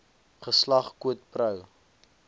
geslag quid pro